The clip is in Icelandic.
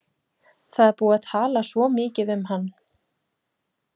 Það er búið að tala svo mikið um hann.